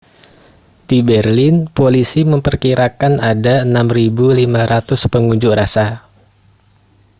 di berlin polisi memperkirakan ada 6.500 pengunjuk rasa